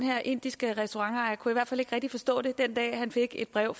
indiske restaurantejer kunne i hvert fald ikke rigtig forstå det den dag han fik et brev og